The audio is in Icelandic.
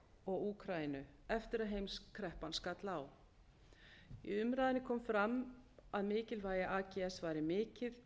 og úkraínu eftir að heimskreppan skall á í umræðunni kom fram að mikilvægi ags væri mikið